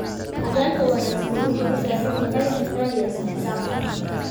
Hoggaanka wanaagsani wuxuu u baahan yahay hufnaan iyo isla xisaabtan.